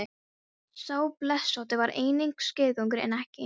Sá blesótti var einnig skeiðgengur en ekki eins hastur.